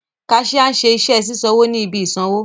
Cashier nṣe iṣẹ sisanwo ni ibi isanwo.